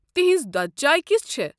تہنز دۄدٕ چاے كِژھ چھےٚ؟